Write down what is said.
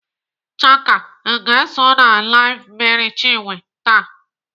Chaka, Ị ga-eso na LIVE Mercy Chinwe taa?